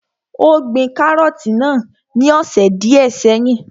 Ó gbin kárọ̀tì náà ní ọ̀sẹ̀ díẹ́ sẹ́yìn.